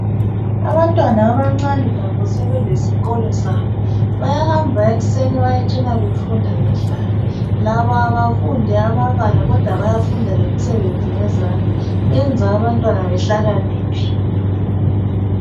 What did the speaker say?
Abantwana abancane labo sebelesikolo sabo , bayahamba ekuseni bayetshona befunda bedlala . Labo abafundi amabala kodwa bayafunda lemisebenzi yezandla kodwa kwenza ababtwana behlakaniphe.